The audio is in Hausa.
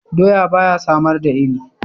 Doya ba ya samar da iri.